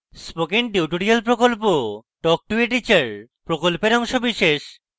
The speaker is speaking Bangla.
spoken tutorial প্রকল্প talk to a teacher প্রকল্পের অংশবিশেষ